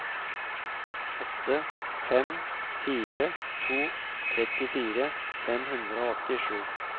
åtte fem fire to trettifire fem hundre og åttisju